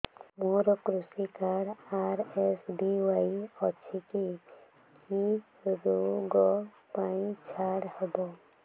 ମୋର କୃଷି card RSBY ଅଛି କି କି ଋଗ ପାଇଁ ଛାଡ଼ ହବ